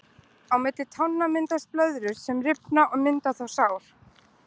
Á milli tánna myndast blöðrur sem rifna og myndast þá sár.